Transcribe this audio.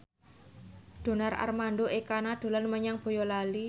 Donar Armando Ekana dolan menyang Boyolali